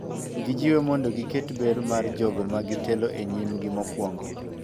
Gijiwe mondo giket ber mar jogo ma gitelo e nyimgi mokuongo.